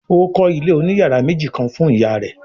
Ó kọ́ Ilé òní yàrá méjì kán fún ìyá rẹ̀